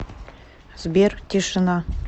сбер тишина